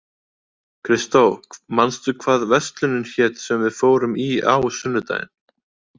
Kristó, manstu hvað verslunin hét sem við fórum í á sunnudaginn?